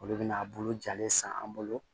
Olu bɛna a bolo jalen san an bolo